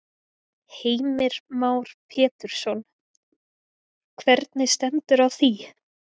Heimir Már Pétursson: Hvernig stendur á því?